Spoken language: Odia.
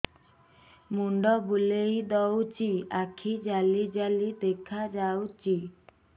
ମୁଣ୍ଡ ବୁଲେଇ ଦଉଚି ଆଖି ଜାଲି ଜାଲି ଦେଖା ଯାଉଚି